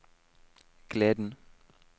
gleden